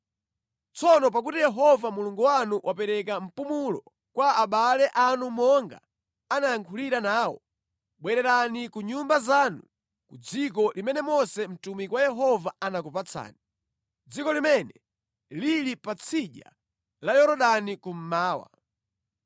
Tsono pakuti Yehova Mulungu wanu wapereka mpumulo kwa abale anu monga anayankhulira nawo, bwererani ku nyumba zanu ku dziko limene Mose mtumiki wa Yehova anakupatsani, dziko limene lili pa tsidya la Yorodani kummawa.